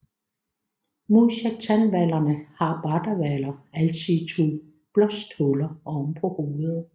Modsat tandhvalerne har bardehvaler altid to blåsthuller oven på hovedet